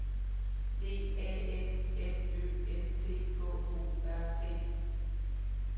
D A N M Ø N T K O R T